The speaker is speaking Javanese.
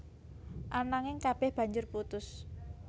Ananging kabéh banjur putus